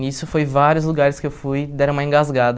Nisso foi vários lugares que eu fui, deram uma engasgada.